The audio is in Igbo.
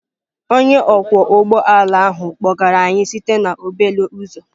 Onye ọkwọ ụgbọ ala ahụ kpọgara anyị site na obele uzọ.